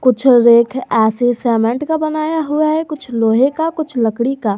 कुछ rack cement का बनाया हुआ है कुछ लोहे का कुछ लकड़ी का।